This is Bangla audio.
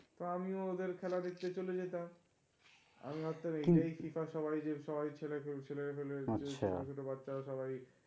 তা আমিও ওদের খেলা দেখতে চলে যেতাম. আমি ভাবতাম এইটা FIFA সবাই যে সবাই ছেলে-পেলে ছোট-ছোট বাচ্ছা রা সবাই